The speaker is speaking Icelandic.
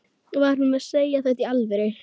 Var hún að segja þetta í alvöru?